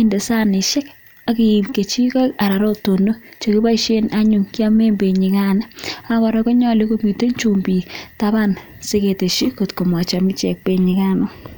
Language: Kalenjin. inde sanishek ak iib kechigoik anan ko rotonok che kiboishen anyun kyamen benyikano. Ak kora konyolu komiten chumbik taban siketeshi kotko mochomchi ichek benyikano.